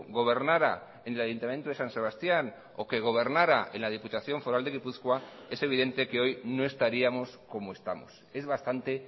gobernara en el ayuntamiento de san sebastián o que gobernara en la diputación foral de gipuzkoa es evidente que hoy no estaríamos como estamos es bastante